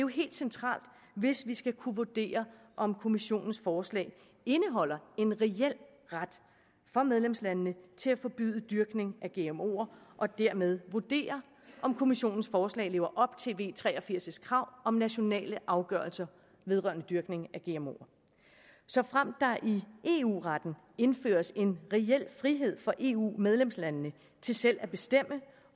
helt centralt hvis vi skal kunne vurdere om kommissionens forslag indeholder en reel ret for medlemslandene til at forbyde dyrkning af gmoer og dermed vurdere om kommissionens forslag lever op til kravet i v tre og firs om nationale afgørelser vedrørende dyrkning af gmo såfremt der i eu retten indføres en reel frihed for eu medlemslandene til selv at bestemme